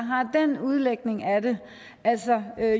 har den udlægning af det altså